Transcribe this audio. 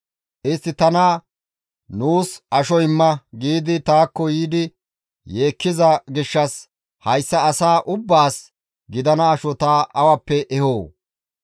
Istti tana, ‹Nuus asho imma› giidi taakko yiidi yeekkiza gishshas hayssa asaa ubbaas gidana asho ta awappe ehoo?